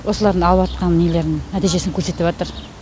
осылардың алыватқан нелерінің нәтижесін көрсетіватыр